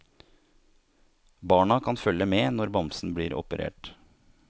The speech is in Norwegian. Barna kan følge med når bamsen blir operert.